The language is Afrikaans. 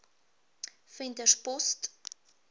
venterspost